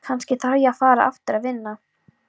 Kannski þarf ég að fara aftur að vinna.